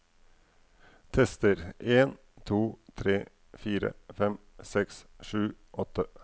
Tester en to tre fire fem seks sju åtte